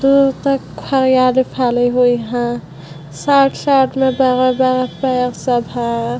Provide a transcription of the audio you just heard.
दूर तक हरयाली फैले हुए है। साथ-साथ में सब है।